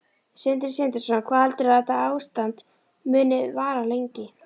Sindri Sindrason: Hvað heldurðu að þetta ástand muni vara lengi?